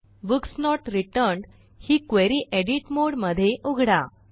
books not returned ही query edit mode मध्ये उघडा